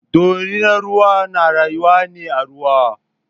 Dorinar ruwa na rayuwa ne a ruwa.